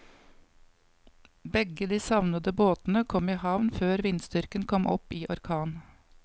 Begge de savnede båtene kom i havn før vindstyrken kom opp i orkan.